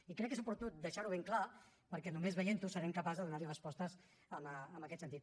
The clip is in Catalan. i crec que és oportú deixar ho ben clar perquè només veient ho serem capaços de donar hi respostes en aquest sentit